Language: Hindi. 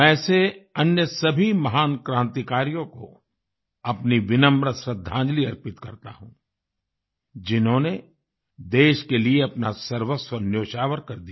मैं ऐसे अन्य सभी महान क्रांतिकारियों को अपनी विनम्र श्रद्दांजलि अर्पित करता हूँ जिन्होंने देश के लिए अपना सर्वस्व न्योछावर कर दिया